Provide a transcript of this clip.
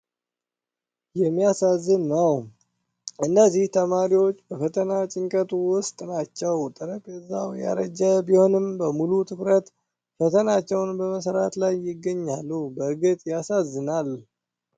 የሚያሳዝን ነው! እነዚህ ተማሪዎች በፈተና ጭንቀት ውስጥ ናቸው! ጠረጴዛው ያረጀ ቢሆንም በሙሉ ትኩረት ፈተናቸውን በመስራት ላይ ይገኛሉ! በእርግጥ ያሳዝናል !